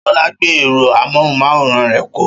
Ṣọlá gbé ẹ̀rọ amóhùmáwòhán rẹ̀ kọ́.